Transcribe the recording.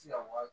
se ka wari